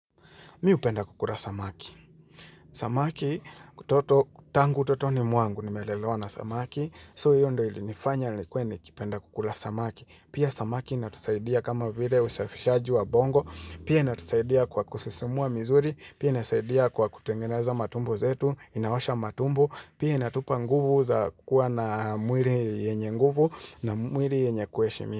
Mimi hupenda kukula samaki. Samaki, kutoto, tangu, utotoni, mwangu, nimelelewa na samaki. So hiyo ndo ilinifanya, nilikue nikipenda kukula samaki. Pia samaki inatusaidia kama vile usafishaji wa bongo. Pia inatusaidia kwa kususimua misuri. Pia inatusaidia kwa kutengeneza matumbo zetu. Inaosha matumbo. Pia inatupa nguvu za kua na mwili yenye nguvu na mwili yenye kuheshimiwa.